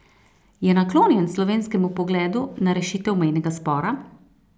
Je naklonjen slovenskemu pogledu na rešitev mejnega spora?